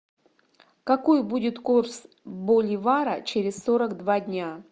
какой будет курс боливара через сорок два дня